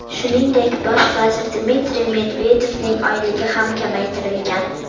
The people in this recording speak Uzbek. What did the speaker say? Shuningdek, bosh vazir Dmitriy Medvedevning oyligi ham kamaytirilgan.